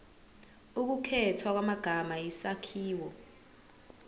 ukukhethwa kwamagama isakhiwo